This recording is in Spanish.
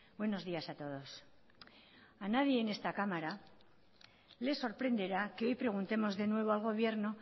buenos días a todos a nadie en esta cámara le sorprenderá que hoy preguntemos de nuevo al gobierno